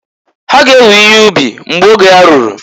Ha g'ewe ihe ubi mgbo oge ya ruru.